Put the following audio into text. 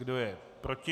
Kdo je proti?